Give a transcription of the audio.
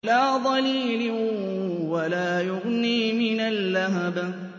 لَّا ظَلِيلٍ وَلَا يُغْنِي مِنَ اللَّهَبِ